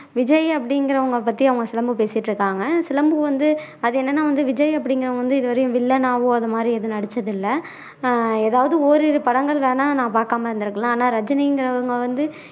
விஜய் அப்படிங்குறவங்களை பத்தி அவங்க சிலம்பு பேசிட்டு இருக்காங்க சிலம்பு வந்து அது என்னன்னா வந்து விஜய் அப்படிங்குறவங்க வந்து இது வரையும் villain ஆவோ அது மாதிரி எதுவும் நடிச்சது இல்ல ஆஹ் ஏதாவது ஓரிரு படங்கள் வேணும்னா நான் பாக்காம இருந்துருக்கலாம் ஆனா ரஜினிங்குறவங்க வந்து